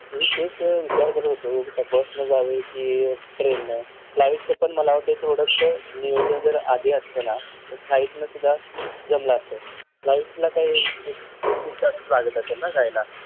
मी हि तेच विचार करत होतो कि बस ने जावे कि ट्रेन न flight च पण मला वाटतंय थोडंसं नियोजन जर आधी असतं ना तर flight न सुद्धा जमलं असतं flightला काय एक एक दिड तासच लागत असेल ना जायला ?